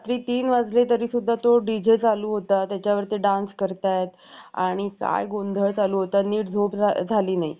आणि सुचलेल्या कल्पनावर चर्चा करायचा आमचा सग~ सकाळ गेली~ करण्यावरचं आमची सकाळ गेली. अध्येमध्ये आम्ही जिम कडे